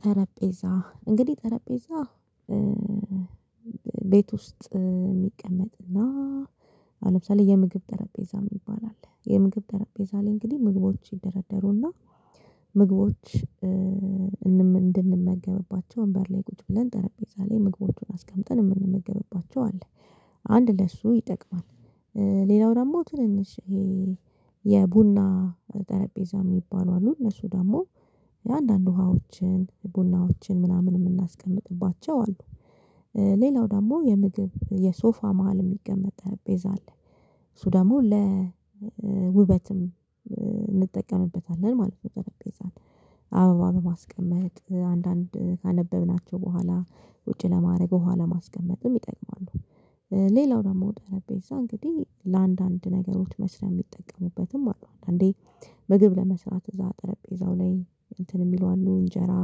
ጠረጴዛ እንግዲህ ጠረጴዛ ቤት ውስጥ ሚቀመጥና ለምሳሌ የምግብ ጠረጴዛ ሚባል አለ የምግብ ጠረጴዛ ላይ እንግዲህ ምግቦች ይደረደሩና ምግቦች እንድንመገብባቸው ወንበር ላይ ቁጭ ብለን ጠረጴዛ ላይ ምግቦቹን አስቀምጠን ምንመገብባቸው አለ። አንድ ለሱ ይጠቅማል። ሌላው ደግሞ ትንንሽ የቡና ጠረጴዛ ሚባሉ አሉ። ነሱ ደግሞ አንዳንድ ውሃዎችን ቡናዎችን ምናምን ምናስቀምጥባቸው አሉ። ሌላው ደግሞ የምግብ የሶፋ መሃል ሚቀመጥ ጠረጴዛ አለ እሱ ደሞ ለውበትም እንጠቀምበታለን ማለት ነው። ጠረጴዛን አበባ በማስቀመጥ አንዳንድ ካነበብናቸው በኋላ ውጪ ለማድረግ በኋላ ለማስቀመጥም ይጠቅማሉ። ሌላው ደግሞ ጠረጴዛ እንግዲህ ለአንዳንድ ነገሮች መስሪያ ሚጠቀሙበትም አሉ። አንዴ ምግብ ለመስራት እዛ ጠረጴዛው ላይ እንትን ሚለው አሉ እንጀራ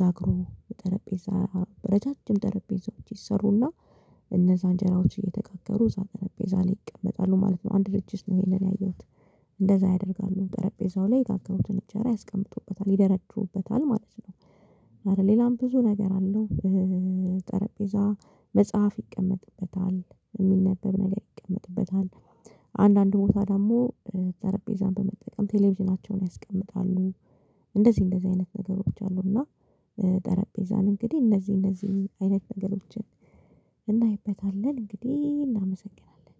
ጋግሮ ጠረጴዛ በረጃጅም ጠረጴዛዎች ይሰሩና እነዛ እንጀራዎች እየተጋገሩ እዛ ጠረጴዛ ላይ ይቀመጣሉ ማለት ነው። አንድ ድርጅት ነው ይሄንን ያየሁት እንደዛ ያደርጋሉ ጠረጴዛው ላይ የጋገሩትን እንጀራ ያስቀምጡበታል ይደረድሩበታል ማለት ነው። አረ ሌላም ብዙ ነገር አለው። ጠረጴዛ መጽሐፍ ይቀመጥበታል ሚነበብ ነገር ይቀመጥበታል። አንዳንድ ቦታ ደግሞ ጠረጴዛን በመጠቀም ቴሌቪዥናቸውን ያስቀምጣሉ። እንደዚህ እንደዚህ አይነት ነገሮች አሉና። ጠረጴዛን እንግዲህ እነዚህ እነዚህ አይነት ነገሮችን እናይበታለን እንግዲህ እናመሰግናለን